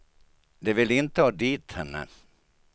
De vill inte ha dit henne.